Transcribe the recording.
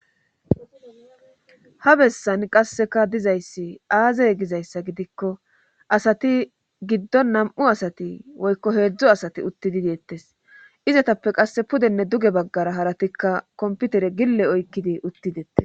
ha bessan qasseka dizayssi aazey gizayssa gidikko asati giddo nam7u asati woykko heedzdzo asati utti di deettes izatappe qasse pudenne duge baggara haratikka komputere gille oykkidi uttidettes